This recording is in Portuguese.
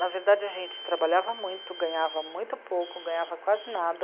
Na verdade, a gente trabalhava muito, ganhava muito pouco, ganhava quase nada.